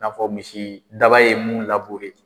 N'a fɔ misidaba ye mun labure